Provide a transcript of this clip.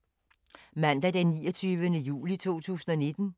Mandag d. 29. juli 2019